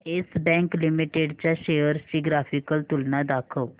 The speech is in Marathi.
येस बँक लिमिटेड च्या शेअर्स ची ग्राफिकल तुलना दाखव